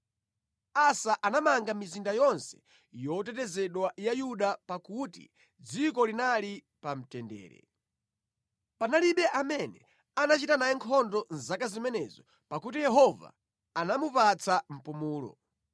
Asa anamanga mizinda yonse yotetezedwa ya Yuda pakuti dziko linali pa mtendere. Panalibe amene anachita naye nkhondo mʼzaka zimenezo, pakuti Yehova anamupatsa mpumulo.